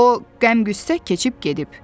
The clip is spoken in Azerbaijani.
O qəm-qüssə keçib gedib.